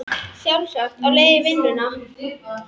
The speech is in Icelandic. Sjálfsagt á leið í vinn una.